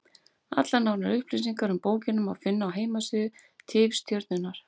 Allar nánari upplýsingar um bókina má finna á heimasíðu Tifstjörnunnar.